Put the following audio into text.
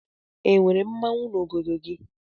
E nwere mmanwụ n'obodo gị?